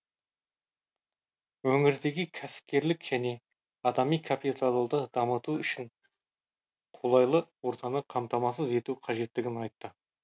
өңірдегі кәсіпкерлік және адами капиталды дамыту үшін қолайлы ортаны қамтамасыз ету қажеттігін айтты